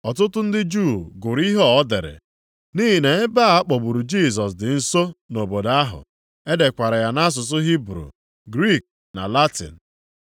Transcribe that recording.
Ọtụtụ ndị Juu gụrụ ihe a o dere, nʼihi na ebe a kpọgburu Jisọs dị nso nʼobodo ahụ. E dekwara ya nʼasụsụ Hibru, Griik na Latin.